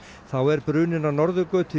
þá er bruninn á Norðurgötu í